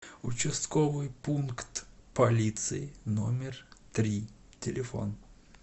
участковый пункт полиции номер три телефон